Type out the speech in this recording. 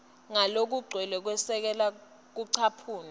ngalokugcwele kwesekela kucaphuna